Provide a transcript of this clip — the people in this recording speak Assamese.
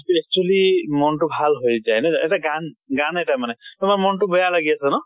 actually মন টো ভাল হৈ যায়। এটা গান, গান এটা মানে তোমাৰ মন টো বেয়া লাগি আছে ন